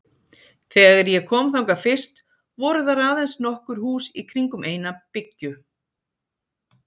Þegar ég kom þangað fyrst voru þar aðeins nokkur hús í kringum eina byggju.